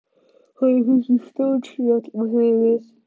Honum finnst hún stórsnjöll og huguð.